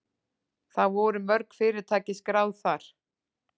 Það voru mörg fyrirtæki skráð þar